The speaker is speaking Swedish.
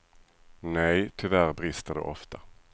Nej, tyvärr brister det ofta.